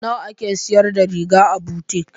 Nawa ake sayar da riga a butik?